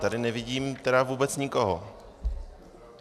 Tady nevidím tedy vůbec nikoho.